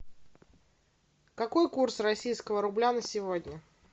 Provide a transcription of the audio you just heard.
какой курс российского рубля на сегодня